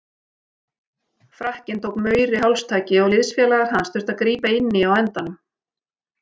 Frakkinn tók Mauri hálstaki og liðsfélagar hans þurftu að grípa inn í á endanum.